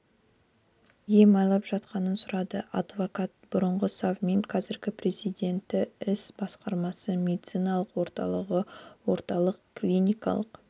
ем алып жатқанын сұрады авдокат бұрынғы совмин қазіргі президенті іс басқармасы медициналық орталығы орталық клиникалық